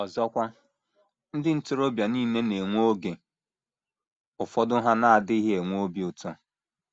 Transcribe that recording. * Ọzọkwa, ndị ntorobịa nile na - enwe oge ụfọdụ ha na - adịghị enwe obi ụtọ.